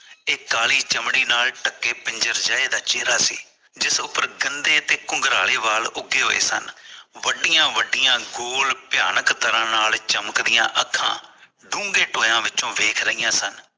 ਇਹ ਕਾਲੀ ਚਮੜੀ ਨਾਲ ਢਕੇ ਪਿੰਜਰ ਜਿਹੇ ਦਾ ਚਿਹਰਾ ਸੀ ਜਿਸ ਉਪਰ ਗੰਦੇ ਤੇ ਗੁੰਗਰਾਲੇ ਬਾਲ ਉਗੇ ਹੋਏ ਸਨ ਵੱਡੀਆਂ ਵੱਡੀਆਂ ਗੋਲ ਭਿਆਨਕ ਤਰਾਂ ਨਾਲ ਚਮਕਦੀਆਂ ਅੱਖਾਂ ਢੁੰਗੇ ਟੋਏ ਵਿੱਚੋ ਵੇਖ ਰਹੀਆਂ ਸਨ